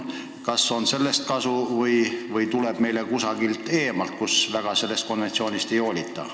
Kas sellest konventsioonist on kasu või tuleb meile ikkagi saastet kusagilt eemalt, kus sellest leppest eriti ei hoolita?